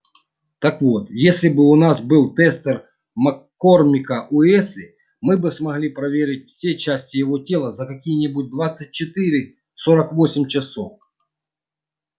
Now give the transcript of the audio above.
так вот если бы у нас был тестер маккормика-уэсли мы бы смогли проверить все части его тела за какие-нибудь двадцать четыре сорок восемь часов